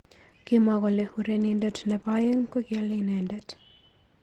Kimwaa kole urenindet nebo aeng kokialei inendet.